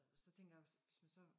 Så tænker jeg hvis hvis man så